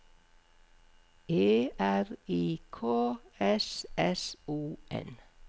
E R I K S S O N